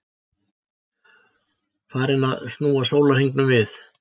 Farinn að snúa sólarhringnum við?